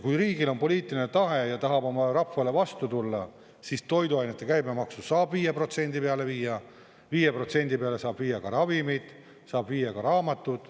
Kui riigil on poliitiline tahe ja ta tahab oma rahvale vastu tulla, siis toiduainete käibemaksu saab 5% peale viia, 5% peale saab viia ka ravimeid, saab viia ka raamatud.